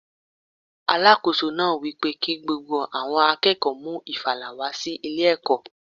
Alákóso náà wípé kí gbogbo àwọn akẹ́kọ̀ọ́ mú ìfàlà wá sí ilé ẹ̀kọ́.